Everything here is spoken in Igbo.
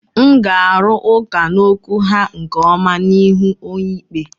M ga-arụ ụka n'okwu ha nke ọma n'ihu onyeikpe.